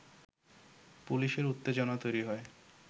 পুলিশের উত্তেজনা তৈরি হয়